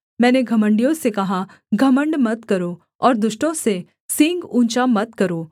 मैंने घमण्डियों से कहा घमण्ड मत करो और दुष्टों से सींग ऊँचा मत करो